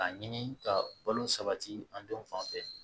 K'a ɲini ka balo sabati an denw fanfɛ